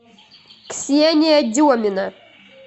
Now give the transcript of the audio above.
ксения демина